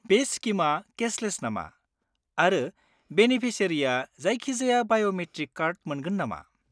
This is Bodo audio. बे स्किमआ केशलेस नामा, आरो बेनेफिसियारिआ जायखिजाया बाय'मेट्रिक कार्ड मोनगोन नामा?